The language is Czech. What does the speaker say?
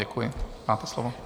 Děkuji, máte slovo.